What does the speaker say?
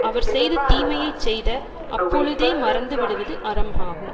அவர் செய்த தீமையை செய்த அப்பொழுதே மறந்து விடுவது அறம் ஆகும்